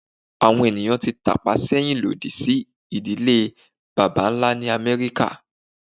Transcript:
Awọn eniyan ti tapa sẹhin lodi si idile baba-nla ni Amẹrika